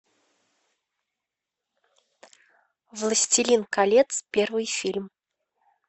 властелин колец первый фильм